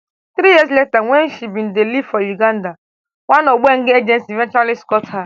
three years later wen she bin dey live for uganda one ogbengeh agency eventually scot her